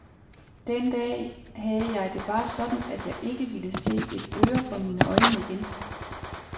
Den dag havde jeg det bare sådan, at jeg ikke ville se et øre for mine øjne igen.